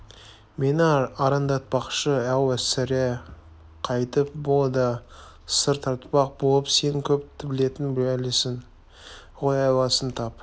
мені арандатпақшы-ау сірә қайтіп бұ да сыр тартпақ болып сен көп білетін бәлесін ғой айласын тап